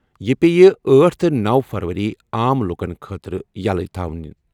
یہِ پیٚیہِ أٹھ تہٕ نوَ فروری عام لوٗکن خٲطرٕ یَلہٕ تھاونہٕ۔